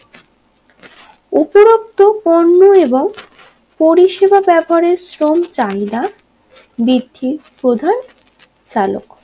উপরত্ব পণ্য এবং পরিষেবা ব্যবহারে শ্রম চাহিদা বৃদ্ধির প্রধান চালক